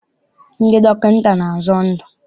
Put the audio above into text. Ndị dọkịta na-azọ ndụ.